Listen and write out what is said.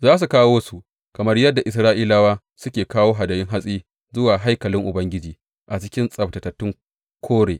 Za su kawo su, kamar yadda Isra’ilawa suke kawo hadayun hatsi, zuwa haikalin Ubangiji a cikin tsabtatattun kore.